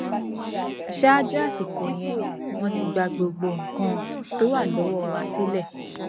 ṣáájú àsìkò yẹn wọn ti gba gbogbo nǹkan tó wà lọwọ wa sílẹ